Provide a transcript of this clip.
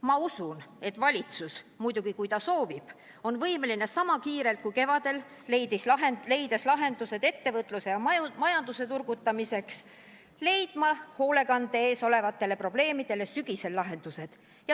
Ma usun, et valitsus – muidugi, kui ta soovib – on võimeline sama kiirelt, kui ta kevadel leidis lahenduse ettevõtluse ja majanduse turgutamiseks, leidma hoolekandes olevatele probleemidele sügisel lahendused.